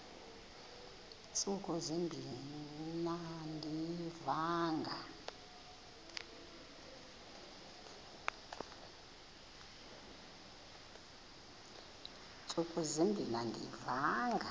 ntsuku zimbin andiyivanga